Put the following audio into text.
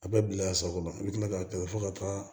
A bɛ bila a sago la i bɛ kila k'a kɛlɛ fo ka taa